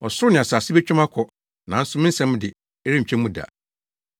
Ɔsoro ne asase betwa mu akɔ, nanso me nsɛm de, ɛrentwa mu da.